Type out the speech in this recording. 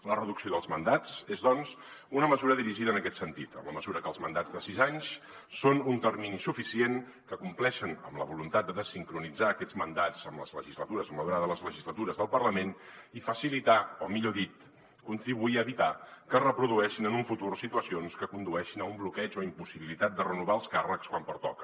la reducció dels mandats és doncs una mesura dirigida en aquest sentit en la mesura que els mandats de sis anys són un termini suficient que compleixen amb la voluntat de dessincronitzar aquests mandats amb les legislatures amb la durada de les legislatures del parlament i facilitar o millor dit contribuir a evitar que es reprodueixin en un futur situacions que condueixin a un bloqueig o impossibilitat de renovar els càrrecs quan pertoca